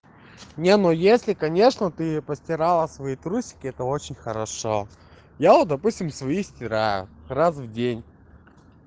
не ну если конечно ты постирала свои трусики это очень хорошо я вот допустим свои стираю раз в день